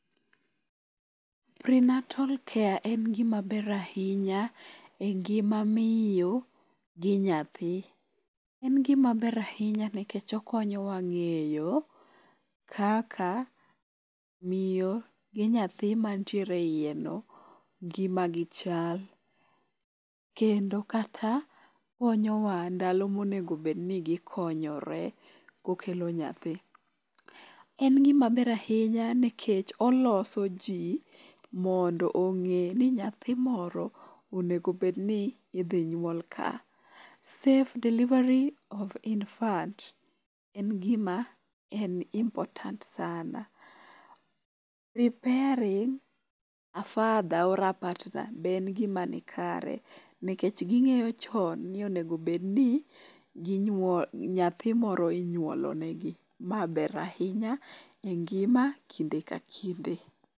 Prenatal care en gimaber ahinya e ngima miyo gi nyathi. En gimaber ahinya nikech okonyowa ng'eyo kaka miyo gi nyathi mantiere e iye no ngima gi chal. Kendo kata konyo wa ndalo monego bed ni gikinyore kokelo nyathi. En gimaber ahinya nikevh oloso ji mondo ong'e ni nyathi moro onego obed ni idhi nyuol ka. Safe delivery of infant en gima en important sana. Preparing a father or a partner be en gima nikare nikech ging'eyo chon ni onego obed ni nyathi moro inyuolo negi. Ma ber ahinya e ngima kinde ka kinde.